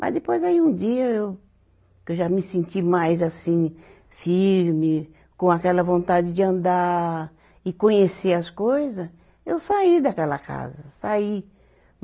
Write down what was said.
Mas depois aí um dia eu, que eu já me senti mais assim, firme, com aquela vontade de andar e conhecer as coisa, eu saí daquela casa, saí.